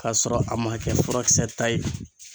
K'a sɔrɔ a man kɛ furakisɛ ta ye.